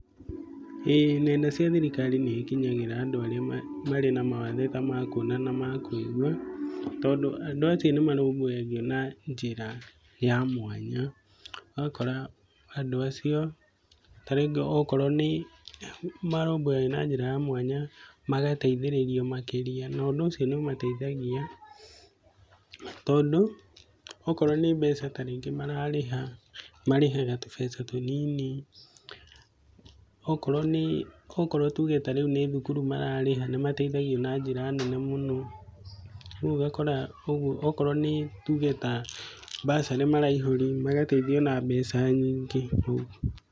ĩĩ nenda cia thirikari nĩ ikinyĩrĩkaga andũ arĩa marĩ na mawathe ta ma kuona kana kũigua tondũ andũ acio nĩ marũmbũyagio na njĩra ya mwanya, ũgakora andũ acio tarĩngĩ okorwo nĩ marũmbũyagio na njĩra ya mwanya magateithĩrĩrio makĩria, no ũndũ ũcio nĩ ũmateithagia tondũ okorwo nĩ mbeca tarĩngĩ mararĩha, marĩhaga tũbeca tũnini, okorwo tuge tarĩu nĩ thukuru mararĩha, nĩ mateithagio na njĩra nene mũno rĩu ũgakora ũguo, okorwo nĩ tuge ta mbacarĩ maraihũria, magateithio na mbeca nyingĩ ũguo.